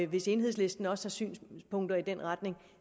hvis enhedslisten også har synspunkter i den retning